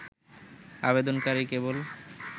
আবেদনকারী কেবল